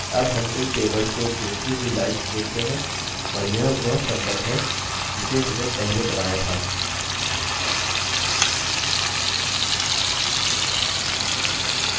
अब हम इन tables को जोडती हुई lines देखते हैं और यह वह सम्बन्ध है जिसे हमने पहले बनाया था